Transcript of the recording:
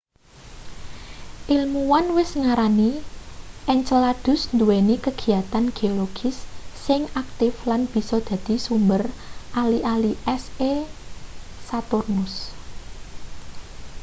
ilmuwan wis ngarani enceladus nduweni kagiyatan geologis sing aktif lan bisa dadi sumber ali-ali es e saturnus